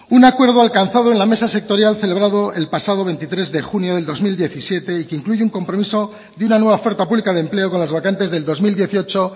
un acuerdo alcanzado en la mesa sectorial celebrado el pasado veintitrés de junio del dos mil diecisiete y que incluye un compromiso de una nueva oferta pública de empleo con las vacantes del dos mil dieciocho